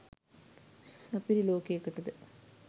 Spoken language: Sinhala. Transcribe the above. සපිරි ලෝකෙකටද?